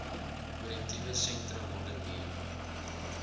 korrektiewe sentrum modderbee